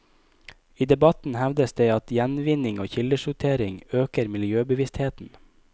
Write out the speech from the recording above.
I debatten hevdes det at gjenvinning og kildesortering øker miljøbevisstheten.